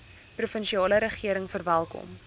provinsiale regering verwelkom